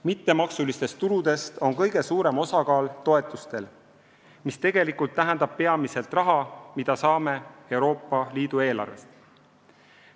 Mittemaksulistest tuludest on kõige suurem osakaal toetustel, mis tegelikult tähendab peamiselt raha, mida saame Euroopa Liidu eelarvest.